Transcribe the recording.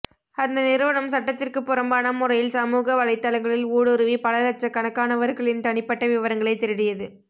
அந்த நிறுவனம் சட்டத்திற்கு புறம்பான முறையில் சமூகவலைத்தளங்களில் ஊடுருவி பல லட்ச கணக்கானவர்களின் தனிப்பட்ட விவரங்களை திருடியது